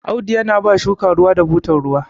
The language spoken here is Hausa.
Audu yana ba shuka ruwa da butar ruwa